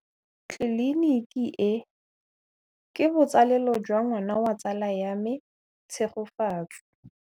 Tleliniki e, ke botsalêlô jwa ngwana wa tsala ya me Tshegofatso.